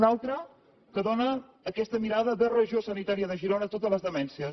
una altra que dóna aquesta mirada de regió sanitària de girona a totes les demències